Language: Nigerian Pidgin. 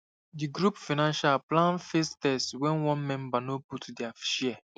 di group financial plan face test when one member no put their share